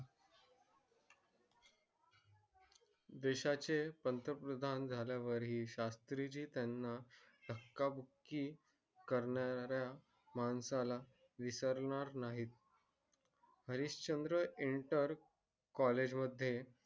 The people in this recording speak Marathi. देशाचे प्रांतप्रधान झाल्यावर हि शास्त्री त्याना धक्का बुकी करणारा माणसाला विसणार नाहीआणि college मध्ये